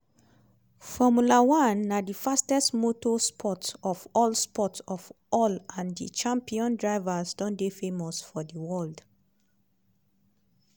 formula one na di fastest motor sport of all sport of all and di champion drivers don dey famous for di world.